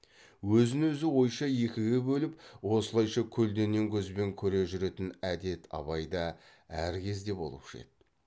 өзін өзі ойша екіге бөліп осылайша көлденең көзбен көре жүретін әдет абайда әр кезде болушы еді